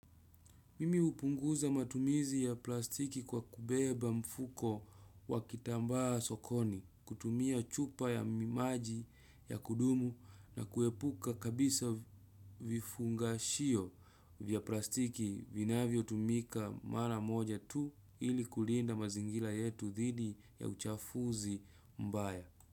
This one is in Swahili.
Mimi hupunguza matumizi ya plastiki kwa kubeba mfuko wa kitambaa sokoni, kutumia chupa ya maji ya kudumu na kuepuka kabisa vifungashio vya plastiki vinavyotumika mara moja tu ili kulinda mazingira yetu dhidi ya uchafuzi mbaya.